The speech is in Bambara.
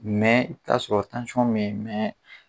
taa'a sɔrɔ me ye